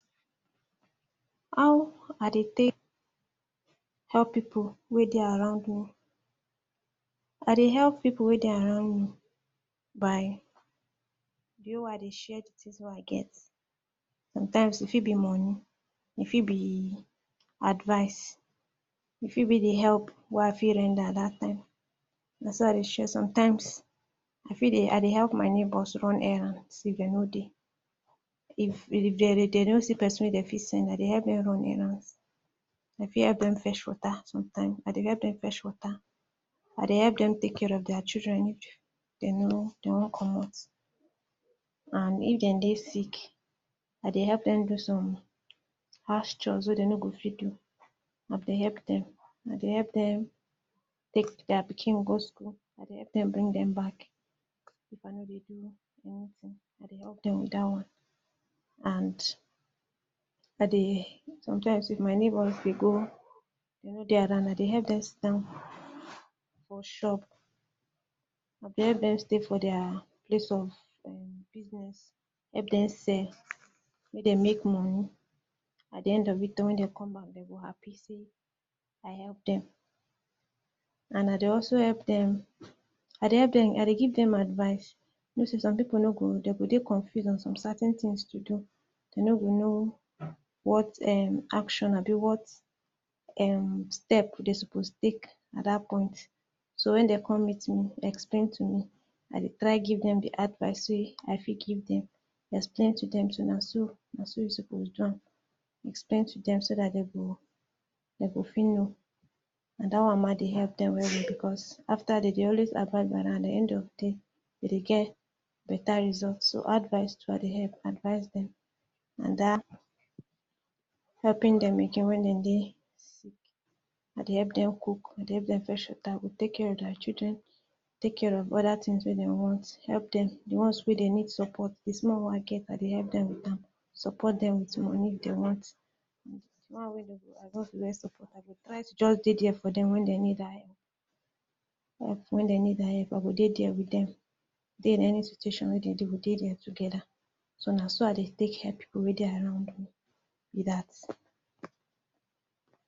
How I dey take help pipu wey dey around me. I dey help pipu wey dey around me, by via I dey share tins wey I get. Sometimes e fit be moni e fit di advise, e fit be di help wey I fit render at dat time. Most I dey sha re sometimes, e fit dey I dey help my neighbor run errand see dey no dey. If e dey no dey see pesin wey dey fit send na dey help dem run errands I fit help them fetch wota sometimes, I dey help dem fetch wota. I dey help dem take care of there children, den no, dey want commot. um If dem dey sick, I dey help dem do some house chores wey dey no go fit do. I dey help dem, I dey help dem take dia pikin go school and dey dem back. If I no dey do anytin I dey help dem wit dat one. And, I dey, sometimes wit my neighbors we go If no dey around na dey help dem sit down for shop. I dey help dem stay for dia dis one for business help dem sef. Made dem make moni At di end of when dey come back dey go happy say, I help dem. And na di also help dem, I dey help dem, I dey give dem advise. dey go dey confused for some certain tins to do. To no go know what um action are dey what. um dey go specific at dat point. So when dey come meet me, explain to me. I dey try to give dem di advise say i fit dem. explain to dem, so na, na so suppose do am. Explain to dem so dat so dat dey go, Dem go fit know And dat one ma dey help dem wey dey becos after dey dey always advise na na di end of day we dey get better result so advise dey dey help, advise dem. And dat helping dem again wey dem dey. I dey help dem cook help dem, I dey help dem fetch wota I go take care of dia children. Take care of oda tin wey dey want. Help dem we di one wey dey need support. support dem wit di moni dey want. or wen dey need di help I go dey dia wit dem. Dey wit any situation wey I dey do wit dey dia togeda so na so i dey take help weda I no know wit dat.